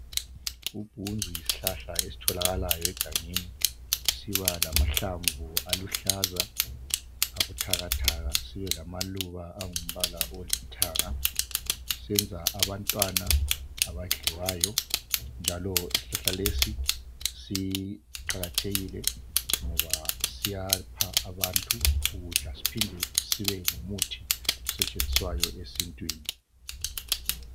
Ubhunzu yisihlahla esitholakalayo egangeni. Siba lamahlamvu aluhlaza, abuthakathaka. Sibe lamaluba angumbala olithanga. Senza abantwana abadliwayo, njalo Isihlahla lesi siqakathekile ngoba siyapha abantu ukudla. Sibuye sibengumuthi osetshenziswayo, esintwini.